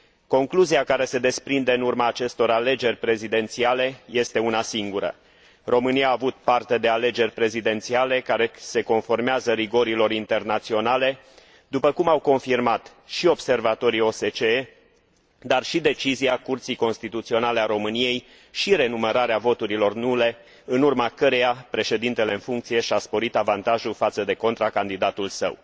Concluzia care se desprinde în urma acestor alegeri prezidențiale este una singură România a avut parte de alegeri prezidențiale care se conformează rigorilor internaționale, după cum au confirmat și observatorii OSCE, dar și decizia Curții Constituționale a României, și renumărarea voturilor nule în urma căreia președintele în funcție și a sporit avantajul față de contracandidatul său.